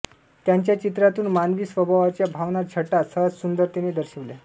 त्यांच्या चित्रातून मानवी स्वभावाच्या भावना छटा सहजसुंदरतेने दर्शविल्या